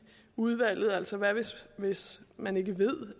udvalget altså hvad nu hvis man ikke ved